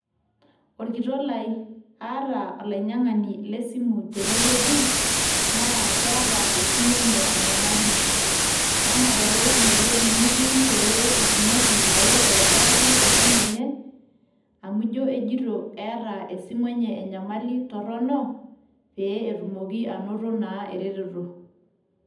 Orkitok lai, aata olainyang'ani le simu tenewueji, na keeta esimu enye enyamali. Emareu inewueji nitii peyie itumoki ayeu aitobiraki esimu enye ? Amu ijo ejito eeta esimu enye enyamali torrono, pe etumoki anoto naa ereteto.